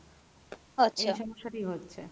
এই সমস্যাটি হচ্ছে।